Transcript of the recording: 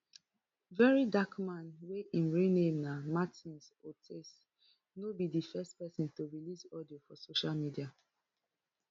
very dark man wey im real name na martins otse no be di first pesin to release audio for social media